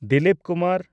Dilip Kumar